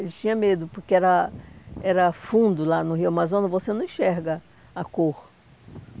Ele tinha medo, porque era era fundo lá no Rio Amazonas, você não enxerga a cor.